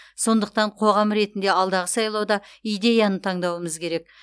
сондықтан қоғам ретінде алдағы сайлауда идеяны таңдауымыз керек